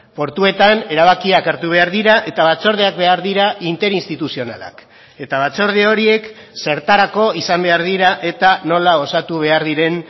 portuetan erabakiak hartu behar dira eta batzordeak behar dira interinstituzionalak eta batzorde horiek zertarako izan behar dira eta nola osatu behar diren